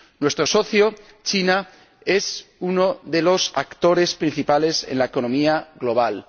Nuestro socio, China, es uno de los actores principales en la economía global.